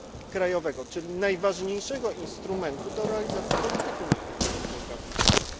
krajowego, czyli najważniejszego instrumentu do realizacji polityki makroekonomicznej w danym kraju.